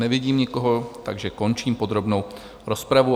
Nevidím nikoho, takže končím podrobnou rozpravu.